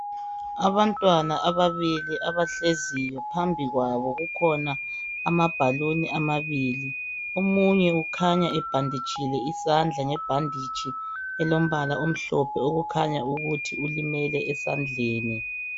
Abantwana ababili abahleziyo phambi kwabo kukhona amabhaluni amabili omunye ukhanya ebhanditshile isandla ngebhanditshi elombala omhlophe okukhanya ukuthi ulimele esandleni.